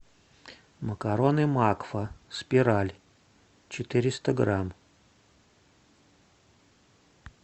макароны макфа спираль четыреста грамм